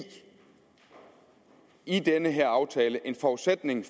i den her aftale en forudsætning